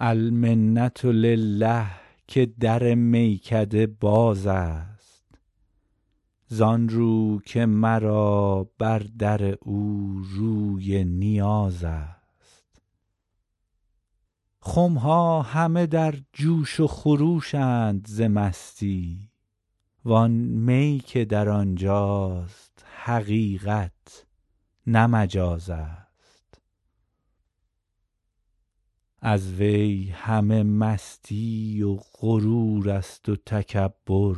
المنة لله که در میکده باز است زان رو که مرا بر در او روی نیاز است خم ها همه در جوش و خروش اند ز مستی وان می که در آن جاست حقیقت نه مجاز است از وی همه مستی و غرور است و تکبر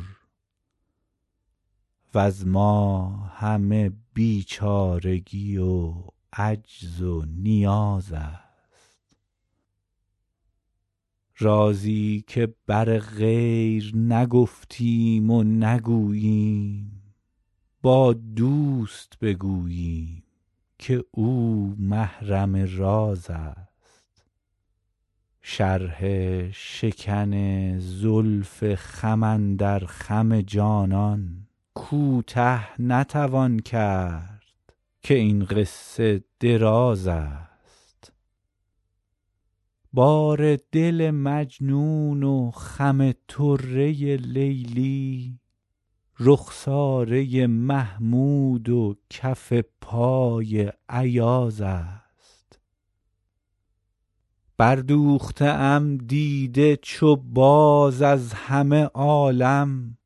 وز ما همه بیچارگی و عجز و نیاز است رازی که بر غیر نگفتیم و نگوییم با دوست بگوییم که او محرم راز است شرح شکن زلف خم اندر خم جانان کوته نتوان کرد که این قصه دراز است بار دل مجنون و خم طره لیلی رخساره محمود و کف پای ایاز است بردوخته ام دیده چو باز از همه عالم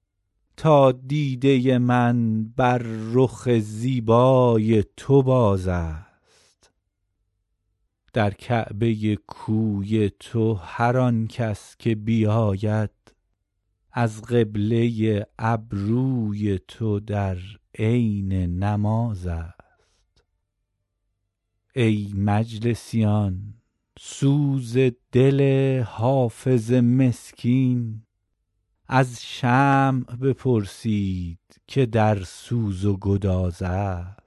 تا دیده من بر رخ زیبای تو باز است در کعبه کوی تو هر آن کس که بیاید از قبله ابروی تو در عین نماز است ای مجلسیان سوز دل حافظ مسکین از شمع بپرسید که در سوز و گداز است